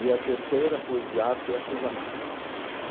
E a terceira foi de arte e artesanato.